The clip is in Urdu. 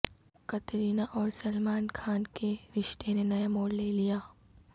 قطرینہ اور سلمان خان کے رشتے نے نیا موڑ لے لیا